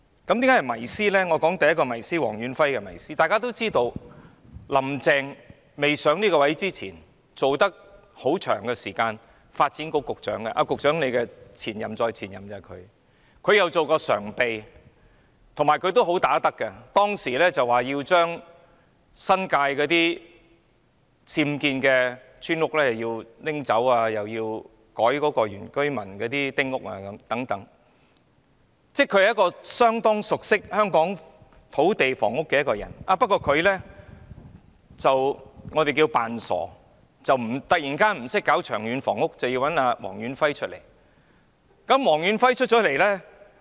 我說說黃遠輝的第一個迷思，大家都知道，"林鄭"未上任前曾長時間擔任發展局局長——她是局長的前任再前任——她亦曾任常任秘書長，而且"好打得"，當時表示要處理新界的僭建村屋，又要修改原居民的丁屋政策，她是相當熟悉香港土地房屋事務的人，不過，我們說她裝傻，突然不懂處理長遠房屋供應的問題，要找來黃遠輝。